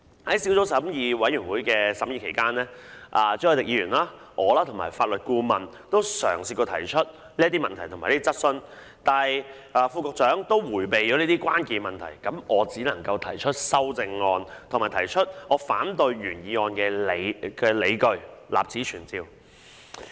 "在小組委員會審議期間，朱凱廸議員、我和法律顧問都嘗試過提出這些問題及質詢，但副局長迴避了這些關鍵的問題，所以我只能提出修訂議案及反對原議案的理據，立此存照。